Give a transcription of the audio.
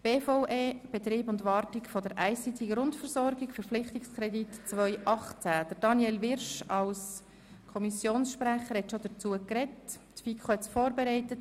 Daniel Wyrsch hat sich bereits als Kommissionssprecher dazu geäussert, die FiKo hat das Geschäft vorberaten.